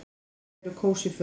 Til þess eru kósí föt.